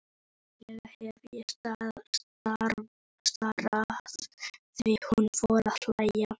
Líklega hef ég starað því hún fór að hlæja.